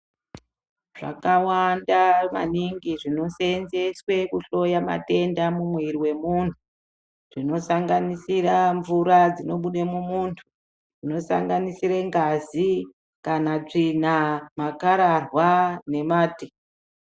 Zvakawanda maningi zvinoseendeswe kuhloya matenda mumwiri mwemunhu. Zvinosanganisira mvura dzinobude mumuntu zvinosanganisira ngazi kana tsvina makararwa nemate